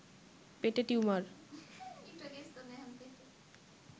পেটে টিউমার